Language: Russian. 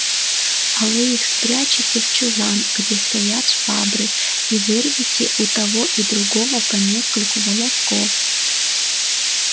а вы их спрячете в чулан где стоят швабры и вырвете у того и у другого по нескольку волосков